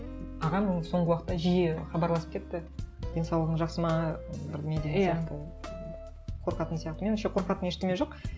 ағам соңғы уақытта жиі хабарласып кетті денсаулығың жақсы ма бірдеңе деген сияқты ол қорқатын сияқты меніңше қорқатын ештеңе жоқ